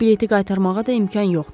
Bileti qaytarmağa da imkan yoxdur.